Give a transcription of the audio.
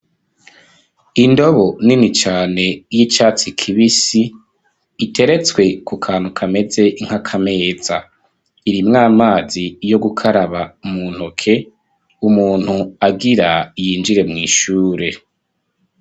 Indobo nini cane y'icatsi kibisi, iteretswe ku kantu kameze nkaka meza, irimwo amazi yo gukaraba mu ntoke, umuntu agira yinjire mw' ishure.